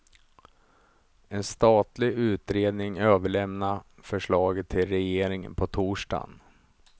En statlig utredning överlämnade förslaget till regeringen på torsdagen.